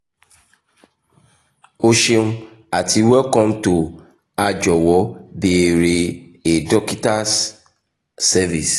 o ṣeun ati welcome to a "jọwọ beere a dokita's service